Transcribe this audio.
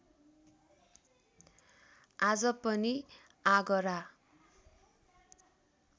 आज पनि आगरा